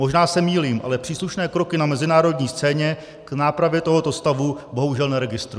Možná se mýlím, ale příslušné kroky na mezinárodní scéně k nápravě tohoto stavu bohužel neregistruji.